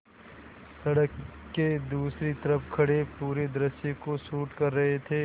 सड़क के दूसरी तरफ़ खड़े पूरे दृश्य को शूट कर रहे थे